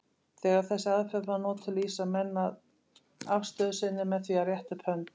Þegar þessi aðferð er notuð lýsa menn afstöðu sinni með því að rétta upp hönd.